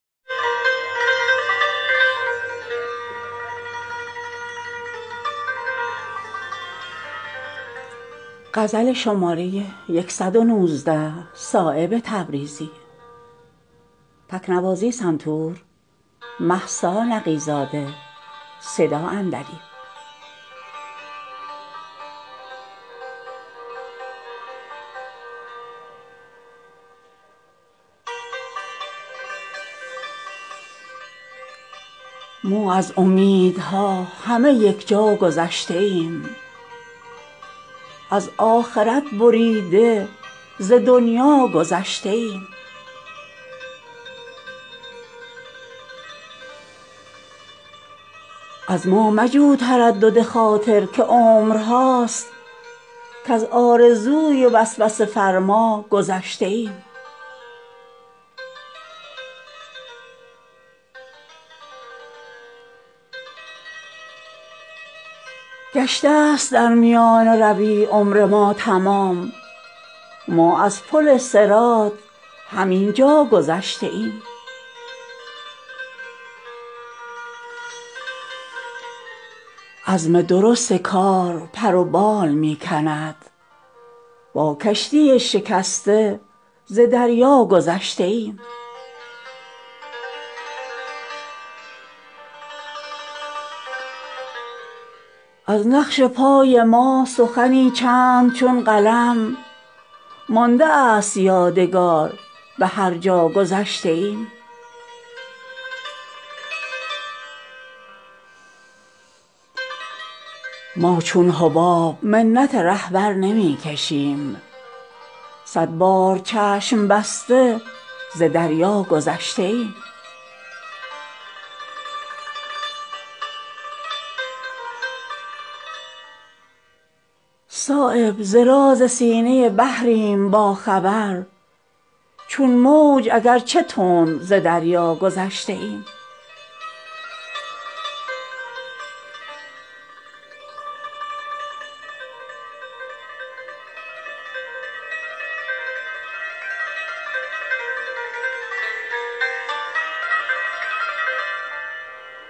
ما از امیدها همه یکجا گذشته ایم از آخرت بریده ز دنیا گذشته ایم سوداگری است خاک به زر ساختن بدل ما بهر آخرت نه ز دنیا گذشته ایم از ما مجو تردد خاطر که عمرهاست کز آرزوی وسوسه فرما گذشته ایم آسوده از پریدن حرص است چشم ما از توتیا به کوری اعدا گذشته ایم هر سایلی به ما نرسد در گذشتگی ما از گدایی در دلها گذشته ایم گشته است در میانه روی عمر ما تمام ما از پل صراط همین جا گذشته ایم عزم درست کار پر و بال می کند با کشتی شکسته ز دریا گذشته ایم آزادگان گر از سر دنیا گذشته اند ما از سر گذشتن دنیا گذشته ایم از نقش پای ما سخنی چند چون قلم مانده است یادگار به هر جا گذشته ایم افتاده است شهپر پرواز ما بلند در بیضه از نشیمن عنقا گذشته ایم هر کس که پا نهاد گرفتار می شود بر هر زمین که سلسله بر پا گذشته ایم ما چون حباب منت رهبر نمی کشیم صدبار چشم بسته ز دریا گذشته ایم هموار ساخته است به ما شوق راه را در کوه اگر رسیده ز صحرا گذشته ایم صایب ز راز سینه بحریم با خبر چون موج اگر چه تند ز دریا گذشته ایم